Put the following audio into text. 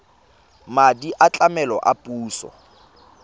madi a tlamelo a puso